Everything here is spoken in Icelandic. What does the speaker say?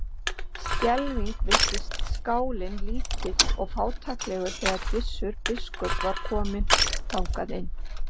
Skelfing virtist skálinn lítill og fátæklegur þegar Gissur biskup var kominn þangað inn.